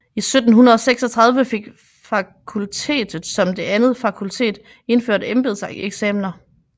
I 1736 fik fakultetet som det andet fakultet indført embedseksaminer